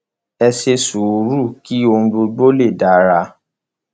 ẹ ṣe sùúrù kí ohun gbogbo lè dára